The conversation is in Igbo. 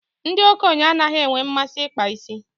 Ndị okenye anaghị enwe mmasị ịkpa isi.